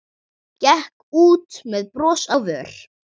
Gekk út með bros á vör.